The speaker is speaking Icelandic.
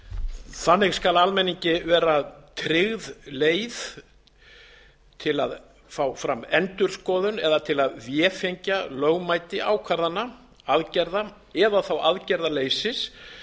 þannig skal almenningi vera tryggð leið til að fá fram endurskoðun eða til að vefengja lögmæti ákvarðana aðgerða eða þá aðgerðaleysis